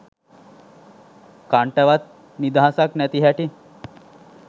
කන්ටවත් නිදහසක් නැති හැටි.